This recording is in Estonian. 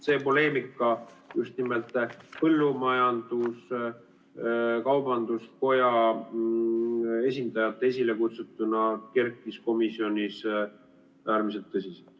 See poleemika just nimelt põllumajandus-kaubanduskoja esindajate esilekutsutuna kerkis komisjonis äärmiselt tõsiselt.